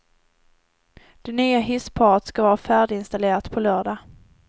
Det nya hissparet ska vara färdiginstallerat på lördag.